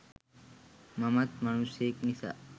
මමත් මනුස්සයෙක් නිසා